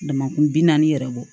Damakun bi naani yɛrɛ bɔ